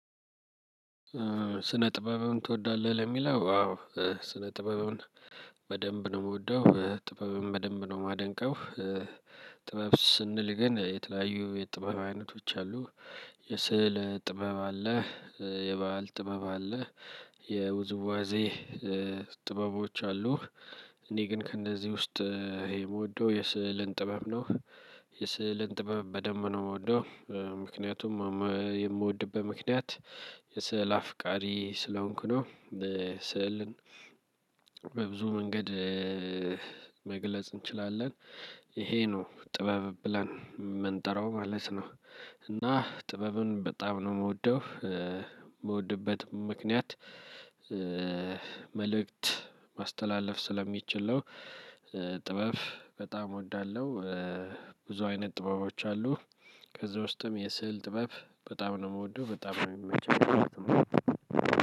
ስነ ጥበብን ትወዳለህ? ለሚለው አዎ ስነ ጥበብን በደንብ ነው የምወደው ጥበብን በደንብ ነው የማደንቀው። ጥበብ ስንል ግን የተለያዩ የጥበብ አይነቶች አሉ። የስዕል ጥበብ አለ። የበህል ጥበብ አለ። የውዝዋዜ ጥበቦች አሉ። እኔ ግን ከእነዚህ ውስጥ ይሄ የምወደው የስዕልን ጥበብ ነው የስዕልን ጥበብ በደምብ ነው የምወደው። ምክንያቱም የምወድበት ምክንያት የስዕል አፍቃሪ ስለሆንኩ ነው። ስዕልን በብዙ መንገድ መግለጽ እንችላለን። ይሄ ነው ጥበብ ብለን የምንጠራው ማለት ነው። እና ጥበብን በጣም ነው የምወደው። የምወድበትም ምክንያት መልእክት ማስተላለፍ ስለሚችል ነው። ጥበብ በጣም እወዳለው። ብዙ አይነት ጥበቦች አሉ። ከዛ ውስጥም የስዕል ጥበብ በጣም ነው የምወደው በጣም ነው የሚመቸኝ ማለት ነው።